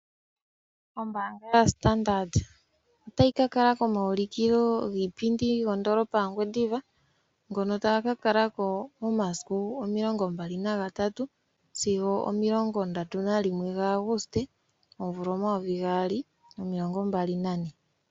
Ombaanga yoStandard otayi ka kala komaulukilo giipindi kondolopa yaNgwediva ngono taga ka kalako omasiku omilongo mbali nandat gaAguste sigo omasiku omilongo ndatu nalimwe gaAguste omvula omayovi gaali nomilongo mbali nane.